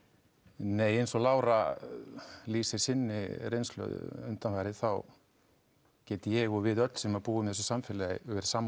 nei eins og Lára lýsir sinni reynslu undanfarið þá get ég og við öll sem búum í þessu samfélagi verið sammála